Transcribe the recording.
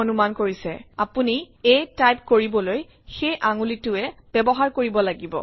অনুমান কৰিছে আপুনি a টাইপ কৰিবলৈ সেই আঙুলিটোৱেই ব্যৱহাৰ কৰিব লাগিব